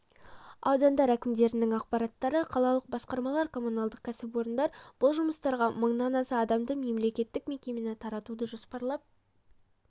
аудандар әкімдерінің аппараттары қалалық басқармалар коммуналдық кәсіпорындар бұл жұмыстарға мыңнан аса адамды мемлекеттік мекемені тартуды жоспарлап